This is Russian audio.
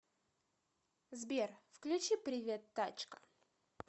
сбер включи привет тачка